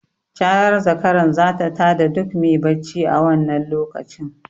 Carar zakaran zata ta da duk me bacci a wannan lokacin.